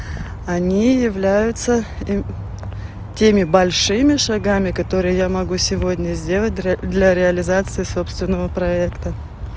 они являются теми большими шагами которые я могу сегодня сделать для реализации собственного проекта